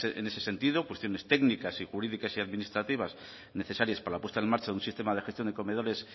en ese sentido cuestiones técnicas y jurídicas y administrativas necesarias para la puesta en marcha de un sistema de gestión de comedores